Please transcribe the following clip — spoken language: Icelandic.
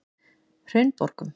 Hraunborgum